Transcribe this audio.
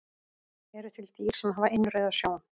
Eru til dýr sem hafa innrauða sjón?